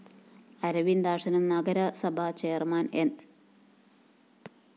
അരവിന്ദാക്ഷനും നഗരസഭ ചെയർമാൻ ന്‌